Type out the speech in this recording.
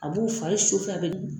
A b'u fari a bɛ